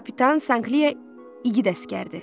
Kapitan Sankli igid əsgərdir.